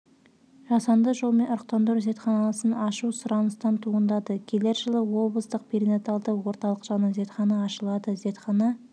жасанды жолмен ұрықтандыру зертханасын ашу сұраныстан туындады келер жылы облыстық перинаталды орталық жанынан зертхана ашылады зертхана